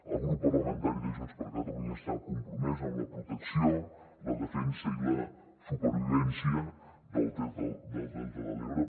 el grup parlamentari de junts per catalunya està compromès amb la protecció la defensa i la supervivència del delta de l’ebre